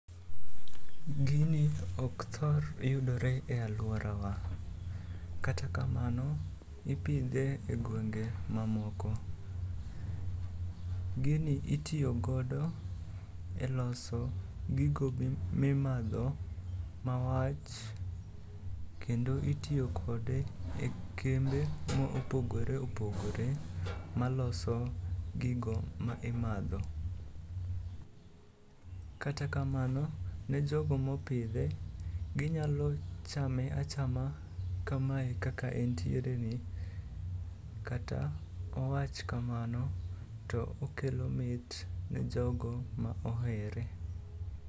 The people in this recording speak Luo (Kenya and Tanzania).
Gini ok thor yudore e alworawa. Kata kamano ipidhe e gwenge mamoko. Gini itiyogodo e loso gigo mimadho mawach, kendo itiyo kode e kembe mopogore opogore maloso gigo ma imadho. Kata kamano ne jogo mopidhe, ginyalo chame achama kamae kaka entiereni kata owach kamano to okelo mit ne jogo ma ohere.